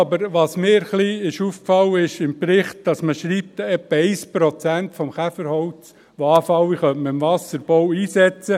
Aber mir ist ein wenig aufgefallen, dass man im Bericht schreibt, im Wasserbau könne man etwa 1 Prozent des anfallenden Käferholzes einsetzen.